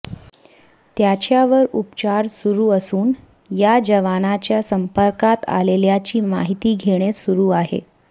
त्याच्यावर उपचार सुरु असून या जवानाच्या संपर्कात आलेल्याची माहिती घेणे सुरू आहे